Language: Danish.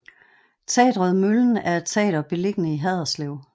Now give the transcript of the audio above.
Teatret Møllen er et teater beliggende i Haderslev